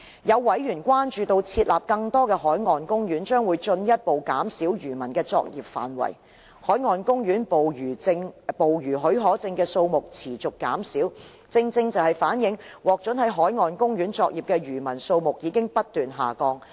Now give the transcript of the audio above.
有委員關注設立更多的海岸公園將會進一步減少漁民的作業範圍。海岸公園捕魚許可證的數目持續減少，正正反映獲准在海岸公園作業的漁民數目已不斷下降。